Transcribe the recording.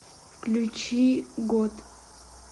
включи год